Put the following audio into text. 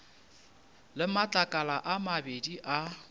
le matlakala a mabedi a